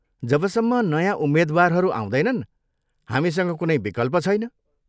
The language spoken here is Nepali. जबसम्म नयाँ उम्मेद्वारहरू आउँदैनन्, हामीसँग कुनै विकल्प छैन।